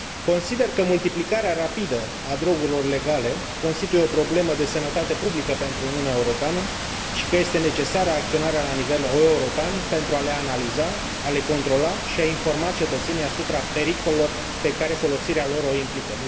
Consider că multiplicarea rapidă a drogurilor legale constituie o problemă de sănătate publică pentru Uniunea Europeană și că este necesară acționarea la nivel european pentru a le analiza, a le controla și a informa cetățenii asupra pericolelor pe care folosirea lor le implică.